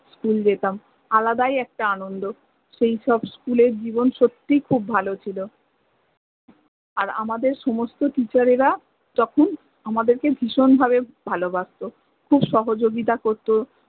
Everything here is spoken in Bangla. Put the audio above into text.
school যেতাম আলাদাই একটা আনন্দ সেই সব school এর জীবণ সত্য়ই খুব ভালো ছিল আর আমাদের সমস্ত teacher এরা তখন আমাদেরকে ভিষন ভাবে ভালোবাসত, খুব সহজগিতা করত